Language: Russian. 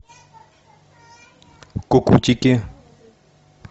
кукутики